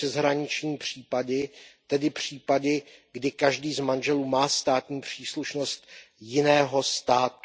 přeshraniční případy, tedy případy, kdy každý z manželů má státní příslušnost jiného státu.